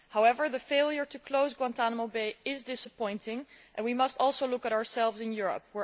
However, the failure to close Guantánamo Bay is disappointing and we must also look at ourselves in Europe.